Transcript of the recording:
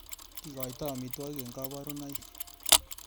Kikoitoi amitwigik eng kabarunaik.